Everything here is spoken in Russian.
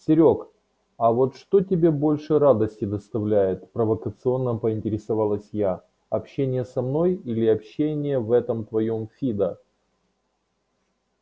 серёг а вот что тебе больше радости доставляет провокационно поинтересовалась я общение со мной или общение в этом твоём фидо